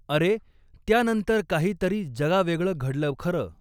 अरे, त्यानंतर काही तरी जगावेगळं घडलं खरं.